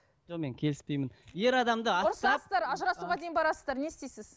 жоқ мен келіспеймін ер адамды аттап ажырасуға дейін барасыздар не істейсіз